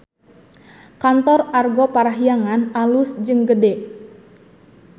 Kantor Argo Parahyangan alus jeung gede